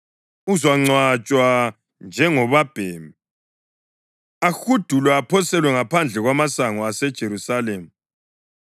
Uzangcwatshwa njengobabhemi, ahudulwe aphoselwe ngaphandle kwamasango aseJerusalema.”